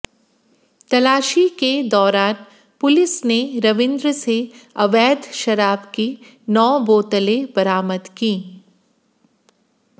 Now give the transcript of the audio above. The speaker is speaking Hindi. तलाशी के दौरान पुलिस ने रविंद्र से अवैध शराब की नौ बोतलें बरामद कीं